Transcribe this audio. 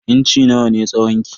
Inci nawa ne tsawon ki?